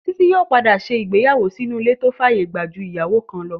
Títílayọ̀ yóò padà ṣe ìgbéyàwó sínú ilé tó fàyè gbà ju ìyàwó kan lọ